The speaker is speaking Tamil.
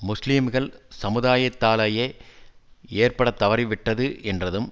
முஸ்லீம்கள் சமுதாயத்திலேயே ஏற்படத் தவறிவிட்டது என்றதும்